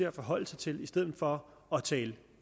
at forholde sig til i stedet for at tale